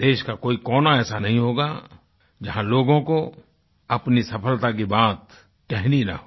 देश का कोई कोना ऐसा नहीं होगा जहाँ लोगों को अपनी सफलता की बात कहनी न हो